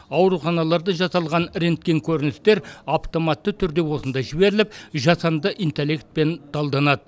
ауруханаларда жасалған рентген көріністер автоматты түрде осында жіберіліп жасанды интеллектпен талданады